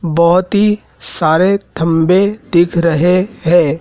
बहुत ही सारे थंभे दिख रहे है।